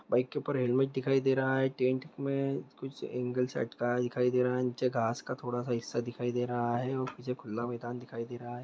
Bike के ऊपर helmet दिखाई दे रहा है में कुछ एंगल सेट का दिखाई दे रहा है नीचे घास का थोड़ा सा हिस्सा दिखाई दे रहा है वह मुझे खुला मेंदान दिखाई दे रहा है।